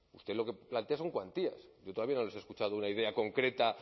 usted lo que plantea son cuantías yo todavía no les he escuchado una idea concreta